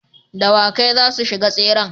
Dawakai zasu shiga tseren